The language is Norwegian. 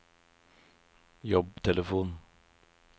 jobbtelefon